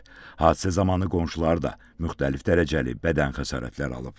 Hadisə zamanı qonşuları da müxtəlif dərəcəli bədən xəsarətləri alıb.